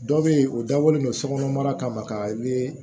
Dɔ be yen o dabɔlen don sokɔnɔna kama ka